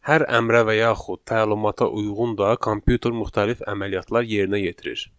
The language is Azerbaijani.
Hər əmrə və yaxud təlimata uyğun da kompüter müxtəlif əməliyyatlar yerinə yetirir.